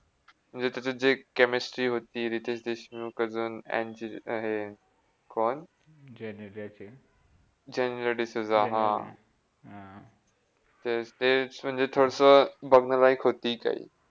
म्हणजे त्याच जे Chemistry होती, रितेश देशमुख अन जे हे कौन? जेनेलियाची जेनेलिया डिसुझा हा! तर तेच म्हणजे थोडस बघण्या लायक होती काही,